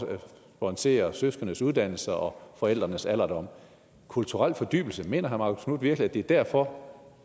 sponsere søskendes uddannelse og forældrenes alderdom kulturel fordybelse mener herre marcus knuth virkelig at det er derfor